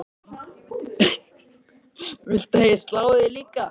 Viltu að ég slái þig líka?